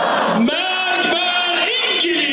Allahu Əkbər, İngilis!